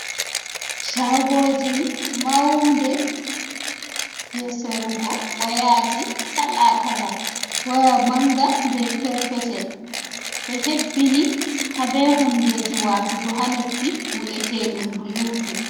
Shagoji maaunɗe. je sarugo wayaji kala-kala waya manga be perpetel be hebbini ha be hundeji watugo ha noppi vi’eteɗum bulutu.